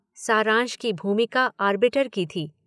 सारंश की भूमिका आर्बिटर की थी।